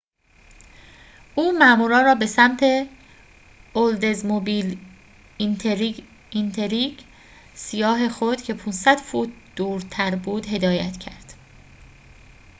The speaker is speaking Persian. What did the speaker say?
او ماموران را به سمت اولدزموبیل اینتریگ سیاه خود که ۵۰۰ فوت دورتر بود هدایت کرد